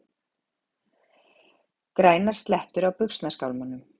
Grænar slettur á buxnaskálmunum!